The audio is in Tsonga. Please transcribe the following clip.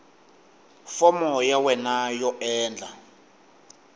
fomo ya wena yo endla